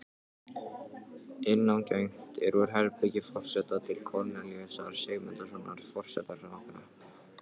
Innangengt er úr herbergi forseta til Kornelíusar Sigmundssonar forsetaritara.